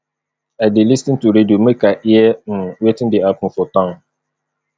i dey lis ten to radio make i hear um wetin dey happen for town